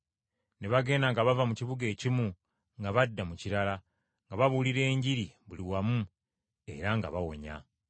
Ne bagenda nga bava mu kibuga ekimu nga badda mu kirala, nga babuulira Enjiri buli wamu era nga bawonya.